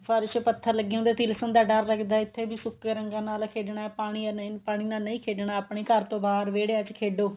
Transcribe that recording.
ਫਰਸ਼ ਪੱਥਰ ਲੱਗੇ ਹੁੰਦੇ ਨੇ ਤਿਲਸਨ ਦਾ ਡਰ ਲੱਗਦਾ ਇੱਥੇ ਵੀ ਸੁੱਕੇ ਰੰਗਾਂ ਨਾਲ ਖੇਡਣਾ ਪਾਣੀ ਨੀ ਪਾਣੀ ਨਾਲ ਨਹੀਂ ਖੇਡਣਾ ਆਪਣੇ ਘਰ ਤੋ ਬਾਅਦ ਵਿਹੜਿਆਂ ਚ ਖੇਡੋ